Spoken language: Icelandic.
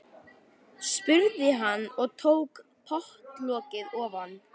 spurði hann og tók pottlokið ofan.